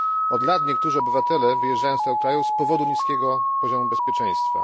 Od lat niektórzy obywatele wyjeżdżają z tego kraju z powodu niskiego poziomu bezpieczeństwa.